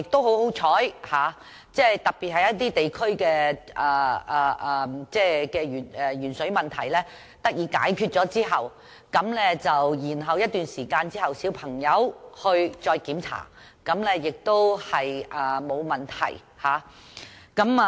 很幸運地，特別是某些地區的鉛水問題獲得解決後，過了一段時間，小朋友再接受檢查而發覺沒有問題。